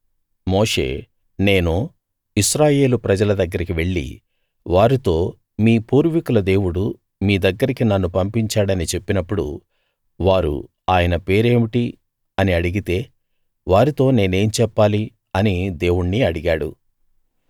మోషే నేను ఇశ్రాయేలు ప్రజల దగ్గరికి వెళ్లి వారితో మీ పూర్వీకుల దేవుడు మీ దగ్గరికి నన్ను పంపించాడని చెప్పినప్పుడు వారు ఆయన పేరేమిటి అని అడిగితే వారితో నేనేం చెప్పాలి అని దేవుణ్ణి అడిగాడు